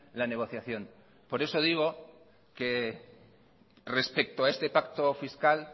la negociación por eso digo que respecto a este pacto fiscal